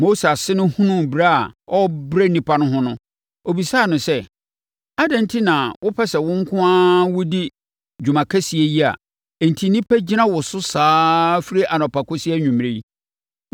Mose ase no hunuu brɛ a ɔrebrɛ nnipa no ho no, ɔbisaa no sɛ, “Adɛn enti na wopɛ sɛ wo nko ara wodi dwuma kɛseɛ yi a enti nnipa gyina wo so saa ara firi anɔpa kɔsi anwummerɛ yi?”